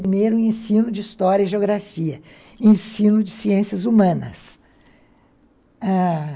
Primeiro, ensino de história e geografia, ensino de ciências humanas.